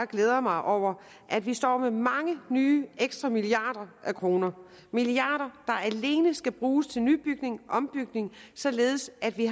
glæder jeg mig over at vi står med mange nye ekstra milliarder kroner milliarder der alene skal bruges til nybygning og ombygning således at vi